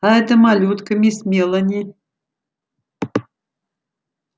а эта малютка мисс мелани